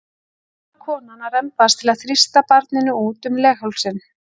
Þá þarf konan að rembast til að þrýsta barninu út um leghálsinn.